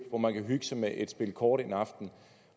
hvor man kan hygge sig med et spil kort en aften